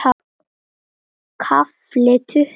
KAFLI TUTTUGU